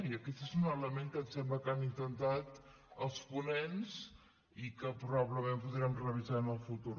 i aquest és un element que em sembla que han intentat els ponents i que probablement podrem revisar en el futur